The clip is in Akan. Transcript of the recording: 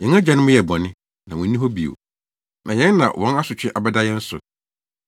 Yɛn agyanom yɛɛ bɔne, na wonni hɔ bio, na yɛn na wɔn asotwe abɛda yɛn so.